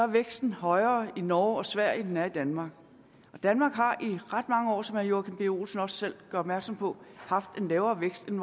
væksten højere i norge og sverige end den er i danmark og danmark har i ret mange år som herre joachim b olsen også selv gør opmærksom på haft en lavere vækst end